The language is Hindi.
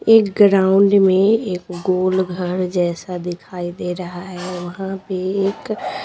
एक ग्राउंड में एक गोल घर जैसा दिखाई दे रहा है वहां पे एक--